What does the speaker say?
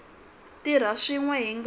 tirha swin we hi nga